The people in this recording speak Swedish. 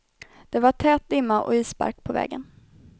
Det var tät dimma och isbark på vägen.